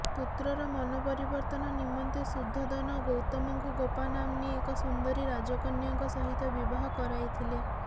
ପୁତ୍ରର ମନ ପରିବର୍ତ୍ତନ ନିମନ୍ତେ ଶୁଦ୍ଧୋଦନ ଗୌତମଙ୍କୁ ଗୋପାନାମ୍ନୀ ଏକ ସୁନ୍ଦରୀ ରାଜକନ୍ୟାଙ୍କ ସହିତ ବିବାହ କରାଇଥିଲେ